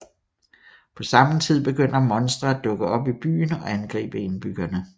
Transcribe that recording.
På samme tid begynder monstre at dukke op i byen og angribe indbyggerne